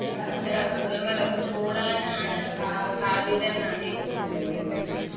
ഇത്തരം അസുഖങ്ങളൊക്കെ കൂടാനാണ് സാധ്യത എന്നാണ് എനിക്ക് തോന്നുന്നത്